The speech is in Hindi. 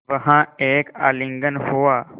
वहाँ एक आलिंगन हुआ